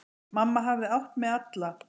Mamma hafði átt mig alla.